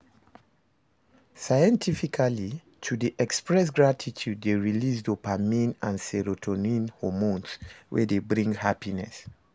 Scientifically to de express gratitude de release dopamine and serotonin hormones wey de bring happiness